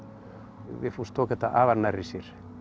Vigfús tók þetta afar nærri sér